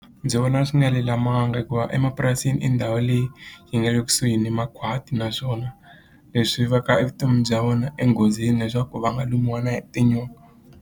Ndzi vona swi nga lulamanga hikuva emapurasini i ndhawu leyi yi nga le kusuhi ni makhwati naswona leswi va ka evutomini bya vona enghozini leswaku va nga lumiwa na hi tinyoka.